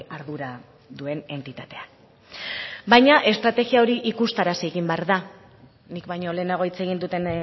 ardura duen entitatea baina estrategia hori ikustarazi behar da nik baino lehenago hitz egin duten